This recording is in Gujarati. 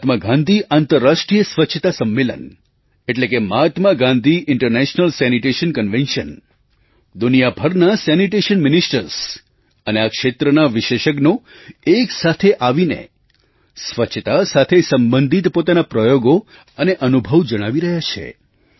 મહાત્મા ગાંધી આંતરરાષ્ટ્રીય સ્વચ્છતા સંમેલન એટલે કે Mahatma Gandhi international sanitation convention Mahatma Gandhi international sanitation convention દુનિયાભરના સેનિટેશન મિનિસ્ટર્સ સેનિટેશન મિનિસ્ટર્સ અને આ ક્ષેત્રના વિશેષજ્ઞો એક સાથે આવીને સ્વચ્છતા સાથે સંબંધિત પોતાના પ્રયોગો અને અનુભવ જણાવી રહ્યા છે